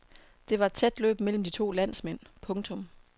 Det var et tæt løb mellem de to landsmænd. punktum